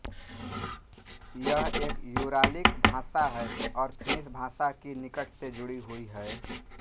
यह एक यूरालिक भाषा है और फिनिश भाषा की निकट से जुड़ी हुई है